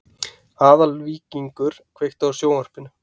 Aðalvíkingur, kveiktu á sjónvarpinu.